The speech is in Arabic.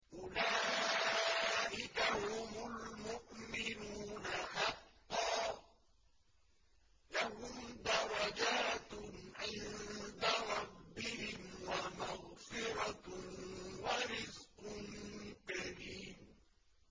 أُولَٰئِكَ هُمُ الْمُؤْمِنُونَ حَقًّا ۚ لَّهُمْ دَرَجَاتٌ عِندَ رَبِّهِمْ وَمَغْفِرَةٌ وَرِزْقٌ كَرِيمٌ